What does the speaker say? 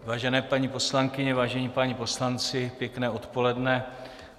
Vážené paní poslankyně, vážení páni poslanci, pěkné odpoledne.